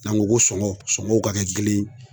N'an ko ko sɔngɔw sɔngɔw ka kɛ kelen ye.